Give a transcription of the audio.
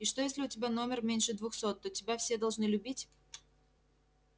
и что если у тебя номер меньше двухсот то тебя все должны любить